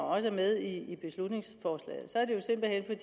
også med i beslutningsforslaget